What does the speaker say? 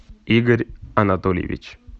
игорь анатольевич